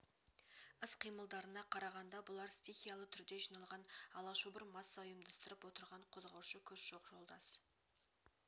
іс-қимылдарына қарағанда бұлар стихиялы түрде жиналған алашобыр масса ұйымдастырып отырған қозғаушы күш жоқ жолдас